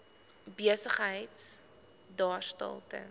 besigheid daarstel ten